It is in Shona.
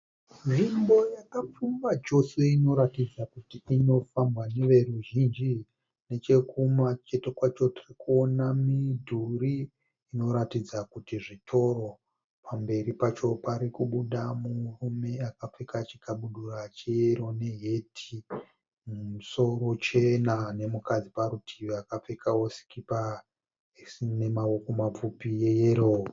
Nzvimbo yakapfumba chose inoratidza kuti inofambwa neveruzhinji. Nechekumacheto kwacho tiri kuona midhuri inoratidza kuti zvitoro. Pamberi pacho parikubuda mumwe murume akapfeka chikabudura cheyero neheti mumusoro chena nemukadzi parutivi akapfekawo sikipa isina maoko mapfupi yeyero.